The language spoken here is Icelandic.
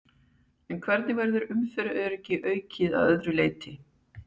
En hvernig verður umferðaröryggi aukið að öðru leyti?